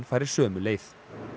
fari sömu leið